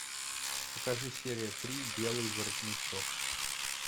покажи серия три белый воротничок